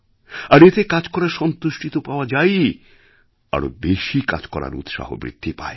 আর এতে কাজ করার সন্তুষ্টি তো পাওয়া যায়ই আরও বেশি কাজ করার উৎসাহ বৃদ্ধি পায়